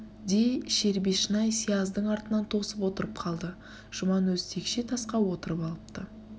де шербешнай сияздың артын тосып отырып қалды жүман өзі текше тасқа отырып алыпты